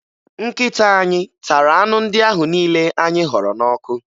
Nkịta anyị tara anụ ndị ahụ niile anyị họrọ n'ọkụ